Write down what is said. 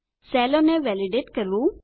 સેલોને validate કરવું